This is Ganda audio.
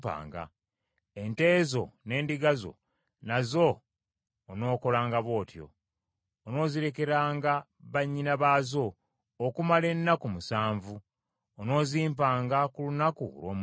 Ente zo n’endiga zo nazo onookolanga bw’otyo. Onoozirekeranga bannyina baazo okumala ennaku musanvu; onoozimpanga ku lunaku olw’omunaana.